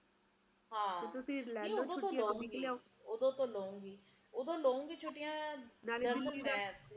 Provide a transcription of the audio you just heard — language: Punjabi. ਹੁਣ ਤਾ wait ਕਰਨੀ ਪੈਂਦੀ ਆ ਕੇ ਗਰਮੀ ਦੇ ਮਹੀਨੇ ਖਤਮ ਹੋਣਗੇ ਕਿ ਨਹੀਂ ਜੇ ਇੱਦਾ ਹੀ ਹਾਲ ਰਹੇ ਤਾ ਇੱਕੋ ਹੀ ਮਹੀਨਾ ਰਹਿ ਜਾਣਾ ਠੰਡ ਦਾ ਜਨਵਰੀ ਦਾ ਤੇ ਬਾਕੀ ਦੇ ਪੂਰੇ ਦੇ ਪੂਰੇ ਗਿਆਰਹ ਮਹੀਨੇ ਗਰਮੀ ਦੇ ਰਹਿ ਜਾਣਗੇ